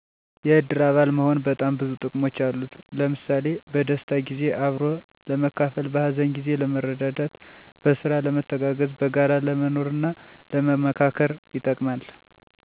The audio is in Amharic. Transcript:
የእድር አባል መሆን በጣም ብዙ ጥቅሞች አሉት። ለምሣሌ፦ በደስታ ጊዜ አብሮ ለመካፈል፣ በሀዘን ጊዜ ለመረዳዳት፣ በስራ ለመተጋገዝ፣ በጋራ ለመኖርና ለመመካከር ይጠቅማል።